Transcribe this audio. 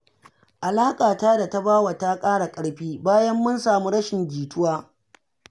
Alaƙata da Tabawa ta ƙara ƙarfi, bayan mun samu rashin jituwa